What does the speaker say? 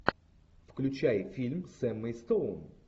включай фильм с эммой стоун